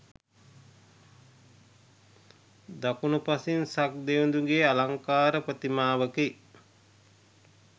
දකුණුපසින් සක්දෙවිඳුගේ අලංකාර ප්‍රතිමාවකි.